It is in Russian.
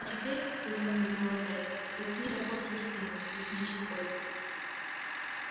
а теперь тут он мигнул опять заткни топор за спину лесничий ходит